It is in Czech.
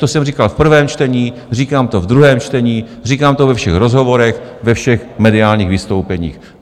To jsem říkal v prvém čtení, říkám to v druhém čtení, říkám to ve všech rozhovorech, ve všech mediálních vystoupeních.